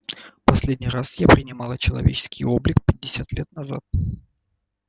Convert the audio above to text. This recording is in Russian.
последний раз я принимала человеческий облик пятьдесят пять лет назад